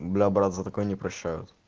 бля брат за такое не прощают